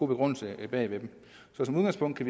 begrundelse bag ved dem så i udgangspunktet